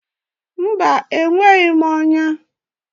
Mba, enweghị m ọnya.